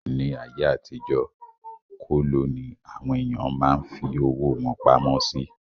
Ní ayé àtijó, kóló ní àwọn èèyàn máa ń fí owó wọn pamọ́ sí